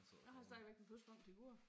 Jeg har stadigvæk den første gang til gode